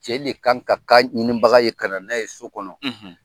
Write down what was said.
Cɛ le kan ka ka ɲininbaga ye ka na , na ye so kɔnɔ.